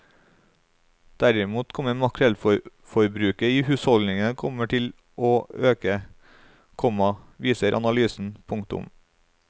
Derimot kommer makrellforbruket i husholdningene kommer til å øke, komma viser analysen. punktum